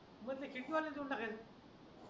मग ते तिकीट वाले देऊन टाकायचं